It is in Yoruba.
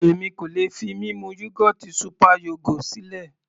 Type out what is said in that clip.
Èmi kò lè fi mímu yógọ́ọ̀tì super yogo sílẹ̀.